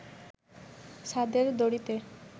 ছাদের দড়িতে